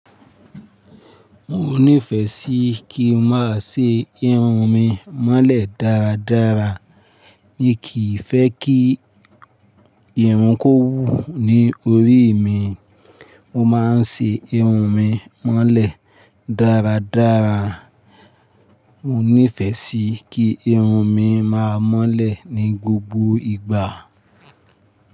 Mo nífẹsí kí ma ṣe irun mi mọ́lẹ̀ dáradára. N kì fẹ́ kí irun kó wù ní orí mi. Mo maa ń ṣe irun mi mọ́lẹ̀ dáradára. Mo nífẹ́sí kí irun mi má mọ́lẹ̀ ní gbogbo ìgbà.